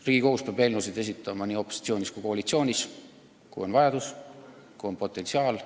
Riigikogus peab eelnõusid esitama nii opositsioonis kui koalitsioonis, kui on vajadus, kui on potentsiaal.